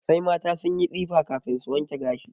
Sai mata sun yi tsifa kafin su wanke gashi.